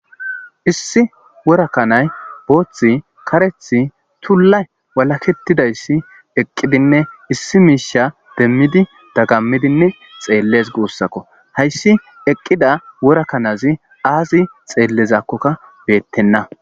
issi wora kanay booththi karethi tulla walaketidayssi eqqidinne issi miisha demmidi dagammidinne xeelles guussakko hayssi eqqida worakanazi aazi xeellezakkokka beettenna